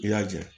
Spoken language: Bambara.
I y'a ja